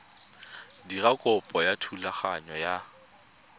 dira kopo ya thulaganyo ya